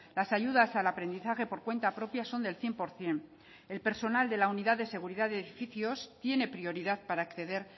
las ayudas al aprendizaje por cuenta propia son del cien por ciento el personal de la unidad de seguridad de edificios tiene prioridad para acceder